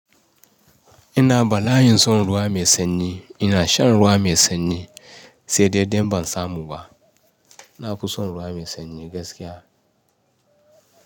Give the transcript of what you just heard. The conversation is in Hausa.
Ina ba la, in son ruwa mai sanyi. Ina shan ruwa mai sanyi sai dai in bansamu ba. Na fi son ruwa mai sanyi gaskiya.